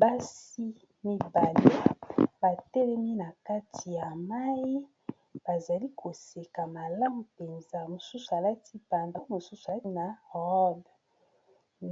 Basi mibale, ba telemi na kati ya mai ; ba zali koseka malamu mpenza. Mosusu alati patalo, mosusu alati na rob.